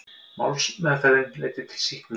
Málsmeðferðin leiddi til sýknu